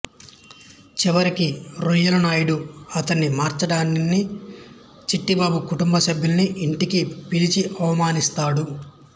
చివరికి రొయ్యలనాయుడు అతన్ని మార్చడానికని చిట్టిబాబు కుటుంబ సభ్యులని ఇంటికి పిలిచి అవమానిస్తాడు